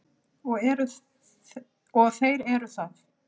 Og þeir eru það.